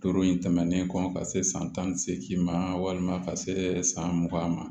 Duuru in tɛmɛnen kɔ ka se san tan ni seegin ma walima ka se san mugan ma